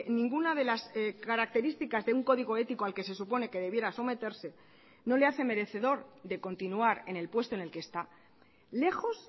ninguna de las características de un código ético al que se supone que debiera someterse no le hace merecedor de continuar en el puesto en el que está lejos